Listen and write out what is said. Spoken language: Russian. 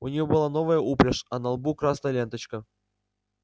у нее была новая упряжь а на лбу красная ленточка